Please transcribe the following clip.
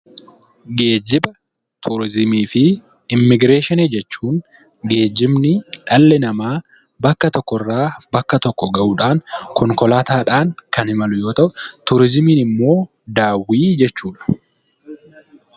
Geejjiba turizimii fi Immigireeshinii jechuun geejjibni dhalli namaa bakka tokkorraa bakka tokko gahuudhaan konkolaataadhaan kan imalu yoo ta'u, turizimiin immoo daawwii jechuudha.